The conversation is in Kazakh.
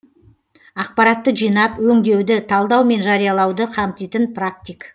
ақпаратты жинап өңдеуді талдау мен жариялауды қамтитын практик